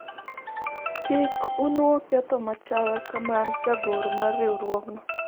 kik inuo ketho machal ka mar jagoro mar riwruogno